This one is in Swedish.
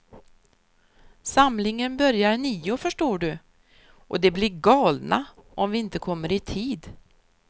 Samlingen börjar nio förstår du, och de blir galna om vi inte kommer i tid.